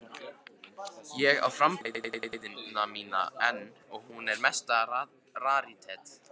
Ég á framboðsræðuna mína enn og hún er mesta rarítet.